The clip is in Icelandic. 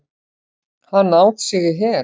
Hann át sig í hel.